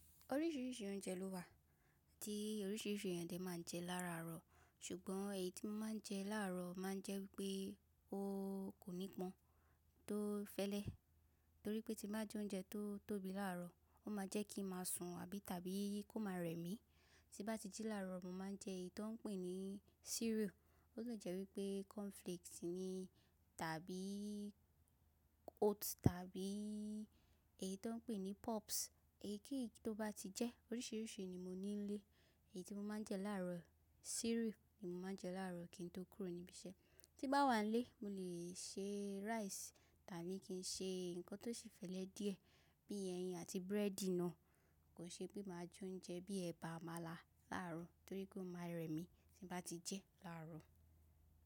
Oríṣìíríṣìí oúnjẹ ló wà, tí oríṣìíríṣìí èèyàn lè máa ń jẹ lára àárọ̀. Ṣùgbọ́n èyí tí mo máa ń jẹ láàárọ̀ máa ń jẹ́ wípé ó kò ní pọn tó fẹ́lẹ́. Torí pé tí bá jẹ oúnjẹ tó tóbi láàárọ̀, ó máa jẹ́ kí ń máa sùn àbí tàbí kó máa rẹmi. Tí bá ti jí láàárọ̀, mo máa ń jẹ èyí tí wọ́n ń pè ní cereal, ó lè jẹ́ wípé cornflakes ni tàbí oats tàbí èyí tí wọ́n ń pè ní puffs. Èyikeyi tó bá ti jẹ́, oríṣìíríṣìí ni mo ní nílé. Èyí tí mo máa ń jẹ láàárọ̀ cereal ni mo máa ń jẹ láàárọ̀ kí n tó kúrò níbí iṣẹ́. Tí bá wà nílé, mo lè se rice tàbí kí n ṣe nǹkan tó ṣi fẹ́lẹ́ díẹ̀ bí i ẹyin àti búrẹ́dì náà. Kò ṣe pé màá jẹ oúnjẹ bíi ẹ̀bà, àmàlà láàárọ̀ nítorí ó máa rẹ mí tí n bá ti jẹ́ láàárọ̀.